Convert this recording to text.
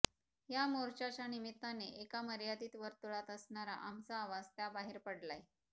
या मोर्चाच्या निमित्ताने एका मर्यादित वर्तुळात असणारा आमचा आवाज त्या बाहेर पडलाय